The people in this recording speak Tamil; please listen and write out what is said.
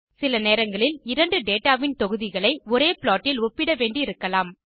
சில நேரங்களில் இரண்டு டேட்டா வின் தொகுதிகளை ஒரே ப்ளாட் இல் ஒப்பிட வேண்டி இருக்கலாம்